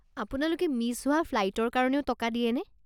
আপোনালোকে মিছ হোৱা ফ্লাইটৰ কাৰণেও টকা দিয়েনে?